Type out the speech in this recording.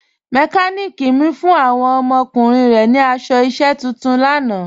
Mẹkàníkì mi fún awọn ọmọkùnrin rẹ̀ ni aṣọ iṣẹ̀ tuntun lànà.